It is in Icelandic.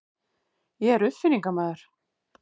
Ég er uppfinningamaður.